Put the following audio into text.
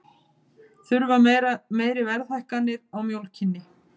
Þurfa meiri verðhækkanir á mjólkinni